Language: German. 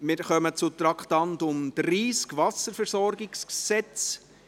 Wir kommen zum Traktandum 30, Wasserversorgungsgesetz (WVG).